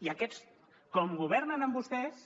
i aquests com que governen amb vostès